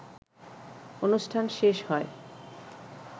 অনুষ্ঠান শেষ হয়